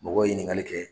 Mɔgɔ ye ɲininkali kɛ